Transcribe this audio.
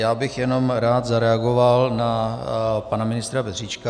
Já bych jenom rád zareagoval na pana ministra Petříčka.